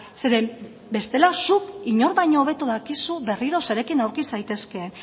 zeren bestela zuk inork baino hobeto dakizu berriro zerekin aurki zaitezke